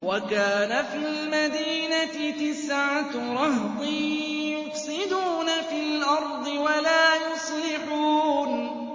وَكَانَ فِي الْمَدِينَةِ تِسْعَةُ رَهْطٍ يُفْسِدُونَ فِي الْأَرْضِ وَلَا يُصْلِحُونَ